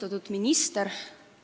Austatud minister!